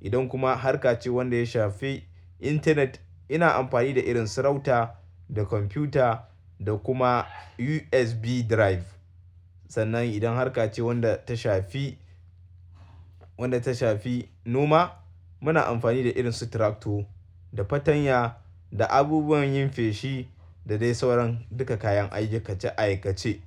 Idan kuma har ka ce wanda ya shafi Internet ina amfani da irin su router da computer da kuma USB drive. Sannan idan harka ce wanda ta shafi, wanda ta shafi noma muna amfani da irin su tractor da fatanya da abubuwan yin feshi da dai sauran duka kayan aikace-aikace.